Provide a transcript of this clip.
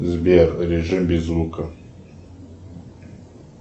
сбер режим без звука